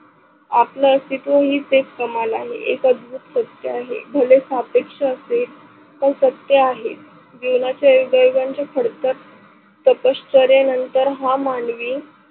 आपल अस्तिव हीच एक कमाल आहे. एक अधभूत सत्य आहे. भले सापेश असे हे सत्य आहे, जीवनाच्या युगा युगाचे फडकत तपश्चर्ये नंतर हा मानवी